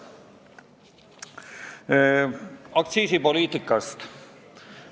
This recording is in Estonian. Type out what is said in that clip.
Veidi aktsiisipoliitikast.